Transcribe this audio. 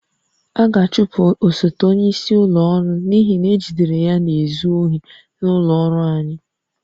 A ga-achụpụ osote onyeisi ụlọ ọrụ n'ihi na ejidere ya na-ezu ohi n'ụlọ ọrụ anyị